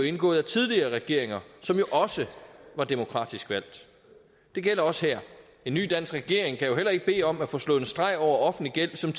indgået af tidligere regeringer som jo også var demokratisk valgt det gælder også her en ny dansk regering kan jo heller ikke bede om at få slået en streg over offentlig gæld som